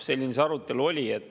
Selline see arutelu oli.